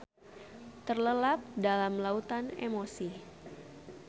Terlelap dalam lautan emosi.